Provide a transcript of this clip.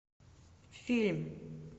фильм